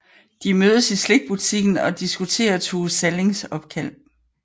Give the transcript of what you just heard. De mødes i slikbutikken og diskuterer Tove Sallings opkald